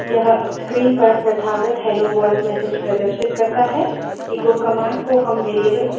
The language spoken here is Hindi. यह screen पर प्रथागत hello world message प्रदर्शित करता है